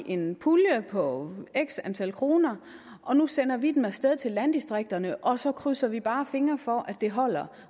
en pulje på x antal kroner og nu sender vi den af sted til landdistrikterne og så krydser vi bare fingre for at det holder